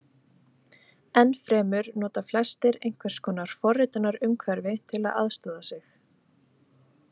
Enn fremur nota flestir einhvers konar forritunarumhverfi til að aðstoða sig.